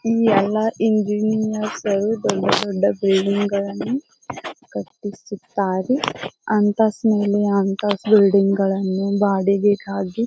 ಈ ಎಲ್ಲ ಇಂಜಿನಿಯರ್ಸರು ದೊಡ್ಡ ದೊಡ್ಡ ಬಿಲ್ಡಿಂಗಳನ್ನ ಕಟ್ಟಿಸುತ್ತಾರೆ ಅಂತಸ್ತ್ ಮೇಲೆ ಅಂತಸ್ತ್ ಬಿಲ್ಡಿಂಗಳನ್ನು ಬಾಡಿಗೆಗಾಗಿ --